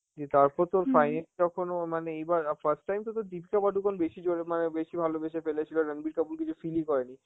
দিয়ে তারপর তো finally যখন ও মানে এইবার~ আ first time তো তোর দীপিকা পাডুকোন বেশি জোরে মানে বেশি ভালোবেসে ফেলেছিল, রাণবীর কাপুর কিছু feel ই করেনি,